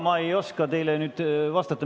Ma ei oskagi teile nüüd vastata.